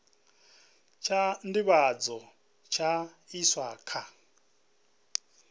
tsha nḓivhadzo tsha iswa kha